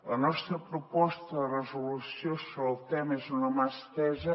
la nostra proposta de resolució sobre el tema és una mà estesa